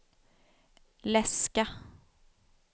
läska